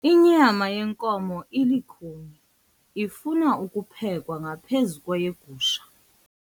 Inyama yenkomo ilukhuni ifuna ukuphekwa ngaphezu kweyegusha.